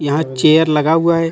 यहां चेयर लगा हुआ है.